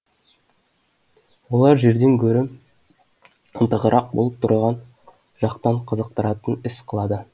олар жерден де гөрі ынтығырақ болып тұрған жақтан қызықтыратын іс қылады